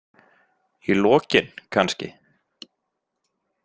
Í lokin kannski?